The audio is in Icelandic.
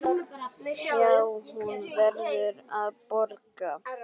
Já, hún verður að borga.